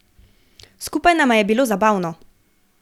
Skupaj nama je bilo zabavno.